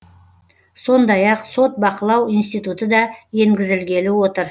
сондай ақ сот бақылау институты да енгізілгелі отыр